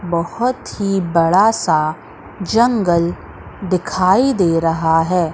बहोत ही बड़ा सा जंगल दिखाई दे रहा है।